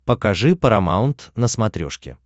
покажи парамаунт на смотрешке